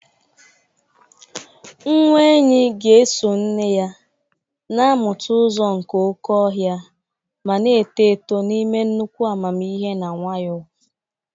Nwa enyi ga-eso nne ya, na-amụta ụzọ nke oke ọhịa ma na-eto eto n'ime nnukwu amamihe na nwayọọ.